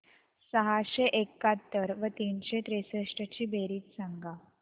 सहाशे एकाहत्तर व तीनशे त्रेसष्ट ची बेरीज सांगा